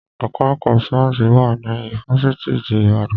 Ẹka ẹ̀kọ́ sáyẹ́nsì wà ní ifáfitì ti Ìbàdàn.